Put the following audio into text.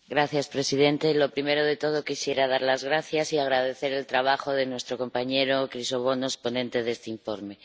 Señor presidente, lo primero de todo, quisiera dar las gracias y agradecer el trabajo de nuestro compañero Chrysogonos, ponente de este informe.